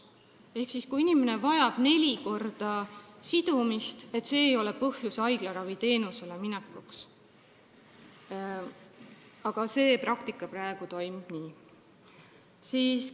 See, kui inimene vajab neli korda nädalas sidumist, ei ole põhjus haiglaraviteenuse osutamiseks, aga praktikas see praegu toimub nii.